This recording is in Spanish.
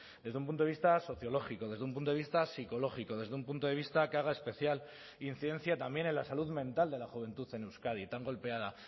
desde un punto de vista sociológico desde un punto de vista psicológico desde un punto de vista que haga especial incidencia también en la salud mental de la juventud en euskadi tan golpeada